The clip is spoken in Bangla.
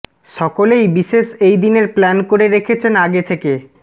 সকলেই বিশেষ এই দিনের প্ল্যান করে রেখেছেন আগে থেকে